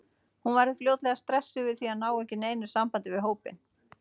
Hún verður fljótlega stressuð yfir því að ná ekki neinu sambandi við hópinn.